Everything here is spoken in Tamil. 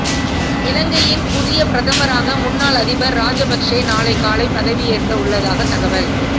இலங்கையின் புதிய பிரதமராக முன்னாள் அதிபர் ராஜபக்சே நாளை காலை பதவியேற்க உள்ளதாக தகவல்